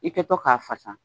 I kɛtɔ k'a fasa